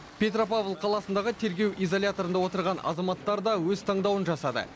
петропавл қаласындағы тергеу изоляторында отырған азаматтар да өз таңдауын жасады